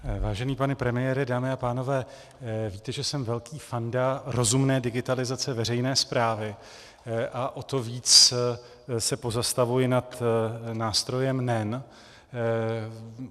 Vážený pane premiére, dámy a pánové, víte, že jsem velký fanda rozumné digitalizace veřejné správy, a o to víc se pozastavuji nad nástrojem NEN.